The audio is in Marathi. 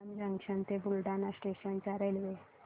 जलंब जंक्शन ते बुलढाणा स्टेशन च्या रेल्वे